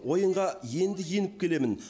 ойынға енді еніп келемін